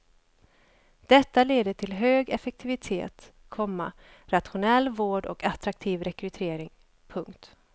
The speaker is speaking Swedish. Detta leder till hög effektivitet, komma rationell vård och attraktiv rekrytering. punkt